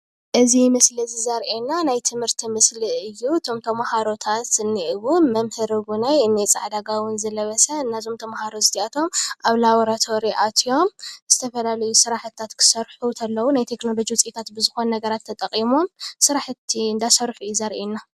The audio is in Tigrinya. እዚ ምስሊ እዚ ዘርእየና ናይ ትምህርቲ ምስሊ እዩ፡፡ እቶም ተማህሮታት ዝኒአው መምህር እዉን እንኤ ፃዕሳ ጋቦን ዝለበሰ። እዞም ተማህሮ እዚአቶም አብ ላቦራቶሪ አትዮም ዝተፈላለዩ ስራሕቲ ክሰርሑ ከለው ናይ ቴክኖሎጂታት ውፅኢታት ብዝኮኑ ነገራት ተጠቂሞም ስራሕቲ እንዳሰርሑ እዩ ዘርእየና፡፡